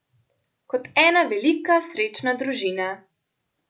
Kot ena velika, srečna družina.